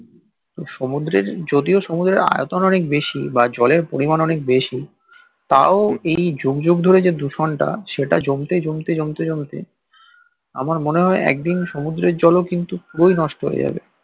তো সমুদ্রে যদিও সমুদ্রের আয়তন অনেক বেশি বা জলের পরিমান অনেক বেশি তও এই জগ জগ ধরে যে দূষণটা জমতে জমতে জমতে জমতে আমার মনে হয় একদিন সমুদ্রের জল ও কিন্তু পুরোই নষ্ট হয়ে যাবে